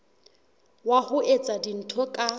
wa ho etsa dintho ka